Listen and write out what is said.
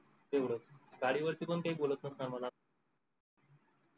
तेवड गाडीवरती पण काही बोलत नसणार मला